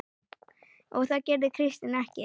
En það gerði Kristín ekki.